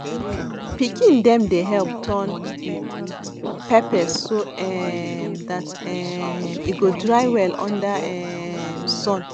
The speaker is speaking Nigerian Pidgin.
pikin dem dey help turn pepper so um dat um e go dry well under um sun